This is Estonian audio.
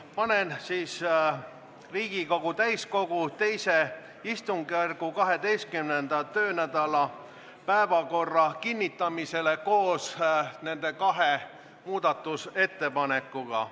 Panen Riigikogu täiskogu II istungjärgu 12. töönädala päevakorra kinnitamisele koos nende kahe muudatusettepanekuga.